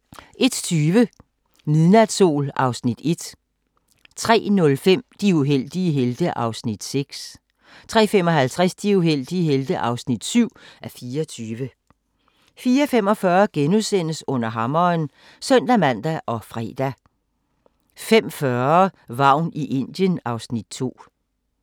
01:20: Midnatssol (Afs. 1) 03:05: De uheldige helte (6:24) 03:55: De uheldige helte (7:24) 04:45: Under hammeren *(søn-man og fre) 05:40: Vagn i Indien (Afs. 2)